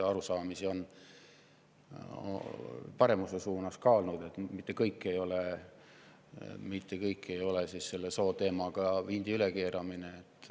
On ka paremuse suunas olnud, mitte kõik sooteemaga seotu ei ole vindi ülekeeramine.